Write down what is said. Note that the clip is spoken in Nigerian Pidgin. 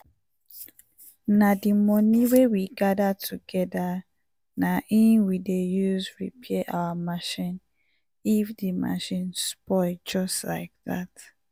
na di money wey we gather togeda na in we dey use repair our machine if di machine spoil just like dat.